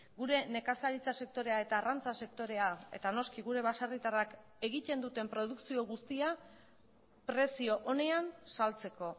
gure nekazaritza sektorea eta arrantza sektorea eta noski gure baserritarrak egiten duten produkzio guztia prezio onean saltzeko